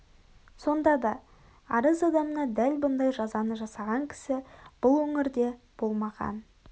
сонда да араз адамына дәл бұндай жазаны жасаған кісі бұл өңірде болмаған